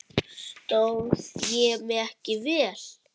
Stóð ég mig ekki vel?